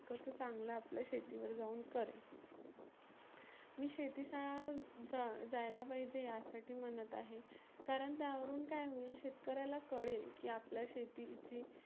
कसं चांगलं आपल्या शेतीवर जाऊन करेन. मी शेतीचा जा जायला पाहिजे यासाठी म्हणत आहे कारण त्यावरुण काय होईल शेतकऱ्याला कळेल की आपल्या शेतीची